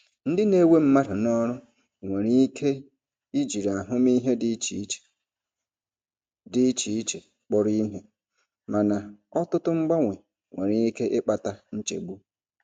Ndị na-ewe mmadụ n'ọrụ nwere ike jiri ahụmịhe dị iche dị iche iche kpọrọ ihe, mana ọtụtụ mgbanwe nwere ike ịkpata nchegbu.